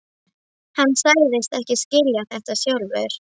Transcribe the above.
Hann sagðist ekki skilja þetta sjálfur.